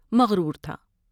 مغرور تھا ۔